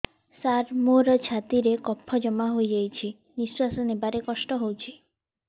ସାର ମୋର ଛାତି ରେ କଫ ଜମା ହେଇଯାଇଛି ନିଶ୍ୱାସ ନେବାରେ କଷ୍ଟ ହଉଛି